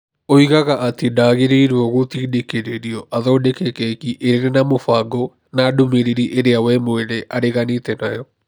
Oigaga atĩ ndagĩrĩirũo gũtindĩkĩrĩrio athondeke keki ĩrĩ na mũbango na ndũmĩrĩri ĩrĩa we mwene areganĩte nayo.